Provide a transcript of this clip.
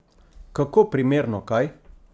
Kako primerno, kaj?